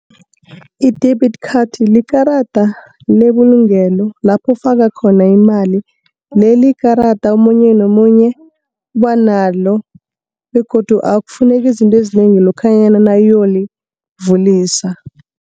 I-debit card likarada lebulungelo lapho ufaka khona imali. Leli ikarada omunye nomunye uba nalo, begodu akufuneki izinto ezinengi lokhanyana nawuyolivulisa.